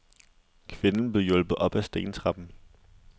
Kvinden blev hjulpet op ad stentrappen.